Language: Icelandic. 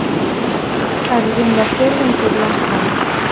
Það er rúmlega fjórðungur landsmanna